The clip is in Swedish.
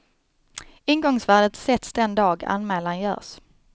Ingångsvärdet sätts den dag anmälan görs.